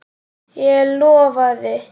Ég lofaði.